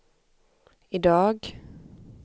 idag